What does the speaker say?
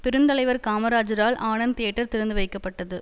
பெருந்தலைவர் காமராஜரால் ஆனந்த் தியேட்டர் திறந்து வைக்கப்பட்டது